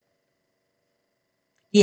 DR2